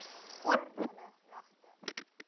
oor hulle regte